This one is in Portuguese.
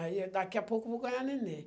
Aí, daqui a pouco eu vou ganhar um nenem.